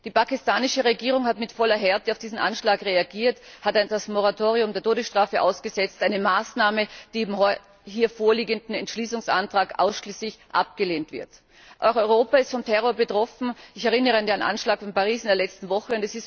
Die pakistanische Regierung hat mit voller Härte auf diesen Anschlag reagiert, hat das Moratorium der Todesstrafe ausgesetzt, eine Maßnahme, die im hier vorliegenden Entschließungsantrag ausschließlich abgelehnt wird. Auch Europa ist vom Terror betroffen. Ich erinnere an den Anschlag von Paris in der letzten Woche.